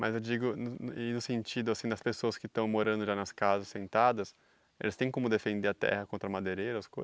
Mas eu digo no e no sentido assim das pessoas que estão morando já nas casas sentadas, eles têm como defender a terra contra madeireiros?